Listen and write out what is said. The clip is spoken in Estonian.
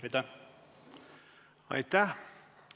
Aitäh!